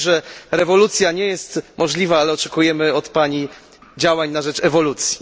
Wiemy, że rewolucja nie jest możliwa, ale oczekujemy od Pani działań na rzecz ewolucji.